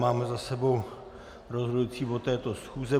Máme za sebou rozhodující bod této schůze.